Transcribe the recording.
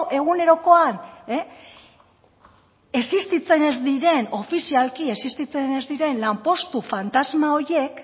egunerokoa ofizialki existitzen ez diren lanpostu fantasma horiek